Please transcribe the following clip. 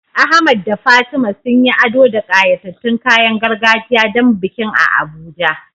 Ahmad da Fatima sun yi ado da ƙayatattun kayan gargajiya don bikin a Abuja.